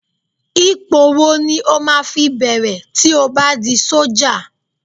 Ipò wo ni o máa fi bẹ̀rẹ̀ tí o bá di sọ́jà?